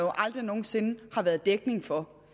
aldrig nogensinde har været dækning for